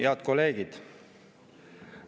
Head kolleegid!